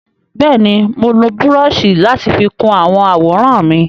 Bẹ́ẹ̀ni, mo lo búrọ́ọ̀ṣì láti fi kun àwọn àwòrán mi.